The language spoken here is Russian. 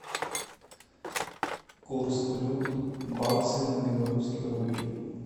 курс валют баксы на белорусские рубли